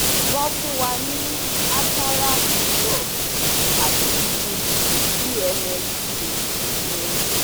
Won fun wa ní Atarax drops ati Fudic BNF cream um